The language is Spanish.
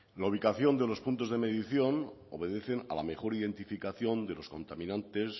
la ubicación de los puntos de medición obedece a la mejor identificación de los contaminantes